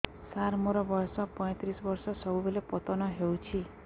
ସାର ମୋର ବୟସ ପୈତିରିଶ ବର୍ଷ ସବୁବେଳେ ପତନ ହେଉଛି